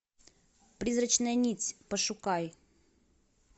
призрачная нить пошукай